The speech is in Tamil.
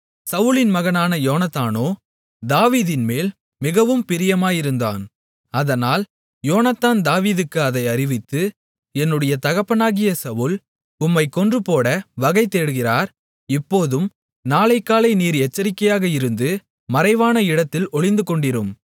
சவுலின் மகனான யோனத்தானோ தாவீதின்மேல் மிகவும் பிரியமாயிருந்தான் அதனால் யோனத்தான் தாவீதுக்கு அதை அறிவித்து என்னுடைய தகப்பனாகிய சவுல் உம்மைக் கொன்றுபோட வகை தேடுகிறார் இப்போதும் நாளைக்காலை நீர் எச்சரிக்கையாக இருந்து மறைவான இடத்தில் ஒளிந்துகொண்டிரும்